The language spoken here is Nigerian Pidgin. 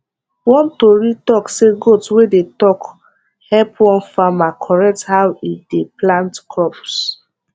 one tori talk say goat wey dey talk help one farmer correct how e dey plant crops